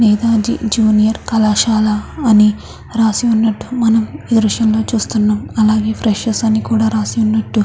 మేధా జూనియర్ కళాశాల అని రాసి ఉన్నట్టు మనం ఈ దృశ్యంలో చూస్తున్నాము అలాగే ఫ్రెషర్స్ కూడా అని రాసి ఉన్నట్టు --